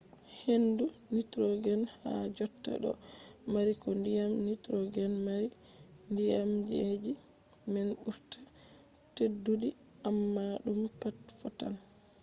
hendu nitrogen ha jotta do mari ko diyam nitrogen mari. diyamji man ɓurta teddudi amma ɗum pat fottan